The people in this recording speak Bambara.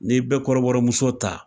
N'i bɛ kɔrɔbɔrɔmuso ta